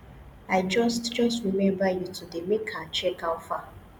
i just just remember you today make i check how far